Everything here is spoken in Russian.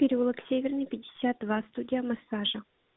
переулок северный пятьдесят два студия массажа